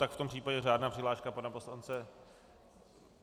Tak v tom případě řádná přihláška pana poslance...